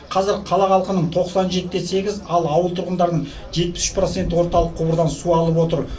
қазір қала халқының тоқсан жеті де сегіз ал ауыл тұрғындарының жетпіс үш проценті орталық құбырдан су алып отыр